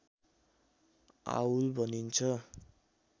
owl भनिन्छ